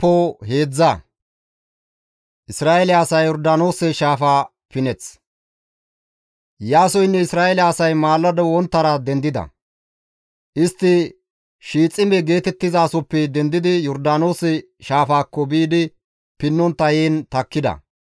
Iyaasoynne Isra7eele asay maalado wonttara dendida; istti Shiixime geetettizasoppe dendidi Yordaanoose shaafaakko biidi pinnontta heen takkida.